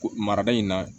Ko marada in na